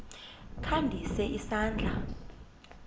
kha ndise isandla